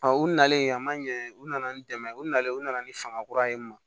u nalen a ma ɲɛ u nana ni dɛmɛ ye u nalen u nana ni fanga kura ye